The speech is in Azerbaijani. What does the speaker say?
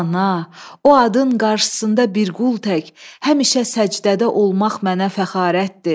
Ana, o adın qarşısında bir qul tək həmişə səcdədə olmaq mənə fəxarətdir.